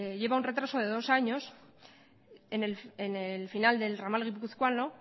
lleva un retraso de dos años en el final del ramal guipuzcoano